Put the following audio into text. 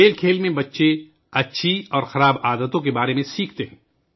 کھیل کے ذریعے بچے اچھی اور بری عادات کے بارے میں سیکھتے ہیں